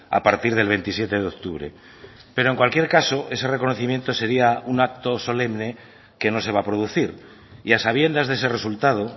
a partir del veintisiete de octubre pero en cualquier caso ese reconocimiento sería un acto solemne que no se va a producir y a sabiendas de ese resultado